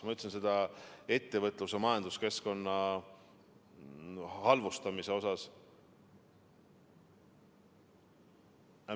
Ma ütlesin seda ettevõtlus- ja majanduskeskkonna halvustamise kohta.